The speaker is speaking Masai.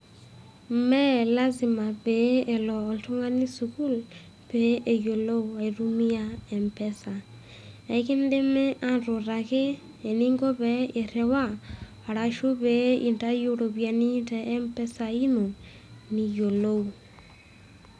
Mee lazima pee elo oltung'ani sukul pee eyiolou aitumia mpesa. Ikidimi atutaki eninko pee iriwa arashu pee intayu iropiani te mpesa ino, niyiolou.